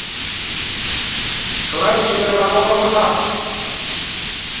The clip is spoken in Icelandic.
Glæsilegur árangur það